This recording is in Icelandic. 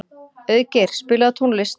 Auðgeir, spilaðu tónlist.